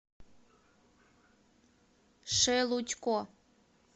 шелудько